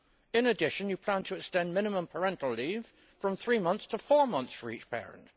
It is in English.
In addition, Minister, you plan to extend minimum parental leave from three months to four months for each parent.